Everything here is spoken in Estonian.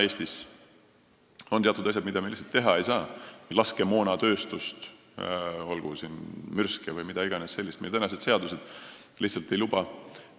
Eestis on teatud asjad, mida me ei saa teha – laskemoonatööstust, olgu mürske või muud sellist, meie praegused seadused siia lihtsalt ei luba.